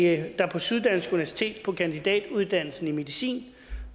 at der på syddansk universitet på kandidatuddannelsen i medicin